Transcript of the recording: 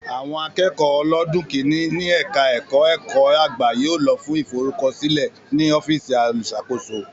Àwọn akẹ́kọ̀ọ́ ọlọ́dún kìíní ní ẹ̀ka ẹ̀kọ́ ẹ̀kọ́-àgbà yóò lọ fún ìforúkọsílẹ̀ ní ọ́fíìsì olùṣàkóso